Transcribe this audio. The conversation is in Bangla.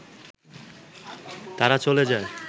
তারা চলে যায়